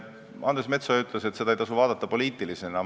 Andres Metsoja ütles, et seda ei tasu vaadata poliitilisena.